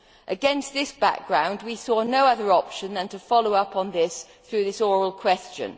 Against this background, we saw no other option than to follow up on this through this oral question.